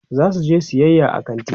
zasu je sayayya a kanti